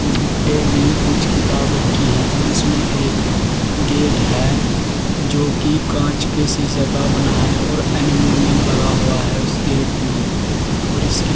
इन पे भी कुछ किताब रखी हैं और इसमें एक गेट है जो कि कांच के शीशा का बना है और एल्यूमीनियम लगा हुआ है उस गेट में और इसकी--